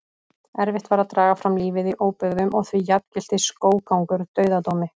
Erfitt var að draga fram lífið í óbyggðum og því jafngilti skóggangur dauðadómi.